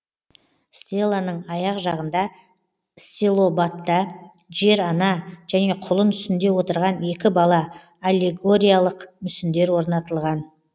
стеланың аяқ жағында стилобатта жер ана және құлын үстінде отырған екі бала аллегориялық мүсіндер орнатылған